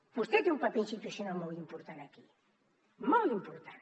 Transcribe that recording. vostè té un paper institucional molt important aquí molt important